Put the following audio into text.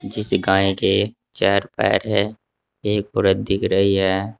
जिस गाय के चार पैर है एक औरत दिख रही है।